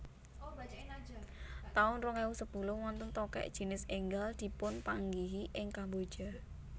taun rong ewu sepuluh Wonten tokèk jinis énggal dipunpanggihi ing Kamboja